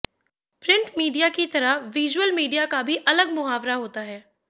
print media की तरह visual media का भी अलग मुहावरा होता है